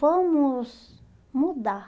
Vamos mudar.